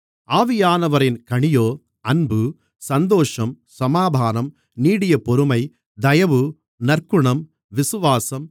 ஆவியானவரின் கனியோ அன்பு சந்தோஷம் சமாதானம் நீடியபொறுமை தயவு நற்குணம் விசுவாசம்